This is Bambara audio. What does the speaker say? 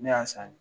Ne y'a san